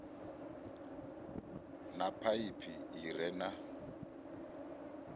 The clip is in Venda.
na phaiphi i re na